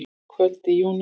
Kvöld í júní.